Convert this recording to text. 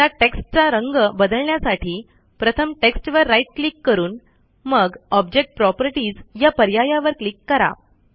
आता टेक्स्टचा रंग बदलण्यासाठी प्रथम टेक्स्टवर राईट क्लिक करून मग ऑब्जेक्ट प्रॉपर्टीज या पर्यायावर क्लिक करा